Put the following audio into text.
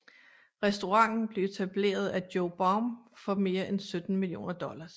Restauranten blev etableret af Joe Baum for mere end 17 millioner dollars